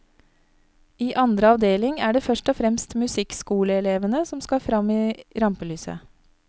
I andre avdeling er det først og fremst musikkskoleelevene som skal fram i rampelyset.